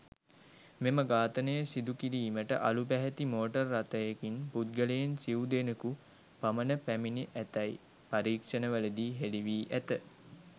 මෙම ඝාතනය සිදු කිරීමට අළු පැහැති මෝටර් රථයකින් පුද්ගලයින් සිව් දෙනකු පමණ පැමිණ ඇතැයි පරීක්ෂණවලදී හෙළි වී ඇත.